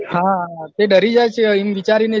હા તે ડરી જાયે છે એમ વિચારીને